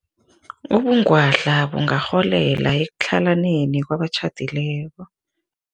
Ubungwadla bungarholela ekutlhalaneni kwabatjhadileko.